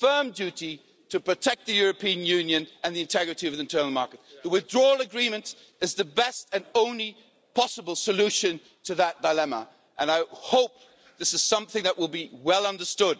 firm duty to protect the European Union and the integrity of the internal market. The withdrawal agreement is the best and only possible solution to that dilemma and I hope that this is something that will be well understood.